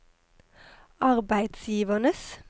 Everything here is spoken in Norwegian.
arbeidsgivernes